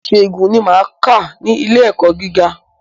Ìṣègùn ni máa kà ní ilé ẹ̀kọ́ gíga.